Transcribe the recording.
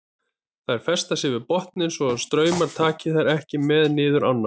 Þær festa sig við botninn svo að straumurinn taki þær ekki með niður ána.